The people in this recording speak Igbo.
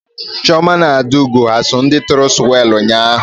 Chioma na Adaugo ha eso na ndị tụrụ swelu ụnyaahụ?